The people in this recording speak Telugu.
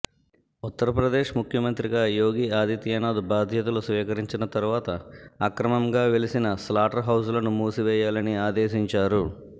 ఉత్తర్ ప్రదేశ్ ముఖ్యమంత్రిగా యోగి ఆదిత్యనాద్ బాధ్యతలు స్వీకరించిన తర్వాత అక్రమంగా వెలిసిన స్లాటర్ హౌజ్ లను మూసివేయాలని ఆదేశించారు